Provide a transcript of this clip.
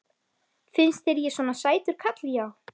Finnst þér ég svona sætur karl já.